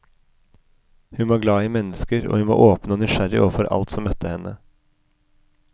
Hun var glad i mennesker, og hun var åpen og nysgjerrig overfor alt som møtte henne.